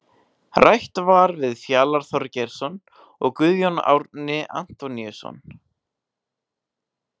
Rætt var við Fjalar Þorgeirsson og Guðjón Árni Antoníusson.